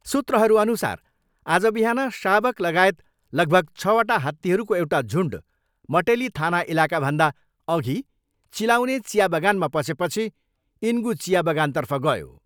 सूत्रहरूअनुसार आज बिहान शावक लगायत लगभग छवटा हात्तीहरूको एउटा झुन्ड मटेली थाना इलाकाभन्दा अघि चिलाउने चिया बगानमा पसेपछि इनगु चिया बगानतर्फ गयो।